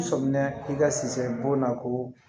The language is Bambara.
Sɔmina i ka siyɛ bo na ko